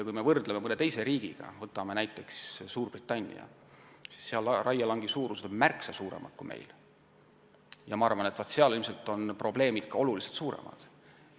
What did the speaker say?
Kui võrdleme end mõne teise riigiga, näiteks Suurbritanniaga, siis näeme, et seal on raielangid märksa suuremad kui meil, ja ma arvan, et seal on ilmselt ka probleemid oluliselt suuremad.